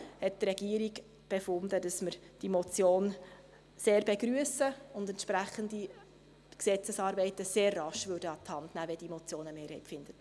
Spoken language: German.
Deshalb hat die Regierung befunden, dass wir diese Motion sehr begrüssen und entsprechende Gesetzesänderungen sehr rasch an die Hand nähmen, wenn diese Motion eine Mehrheit fände.